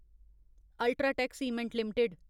UltraTech cement limited